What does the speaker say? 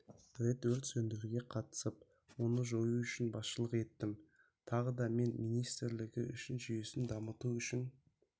рет өрт сөндіруге қатысып оны жою үшін басшылық еттім тағыда мен министрлігі жүйесін дамыту үшін